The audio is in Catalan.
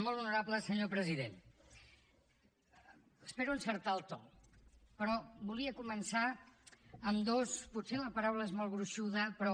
molt honorable senyor president espero encertar el to però volia començar amb dos potser la paraula és molt gruixuda però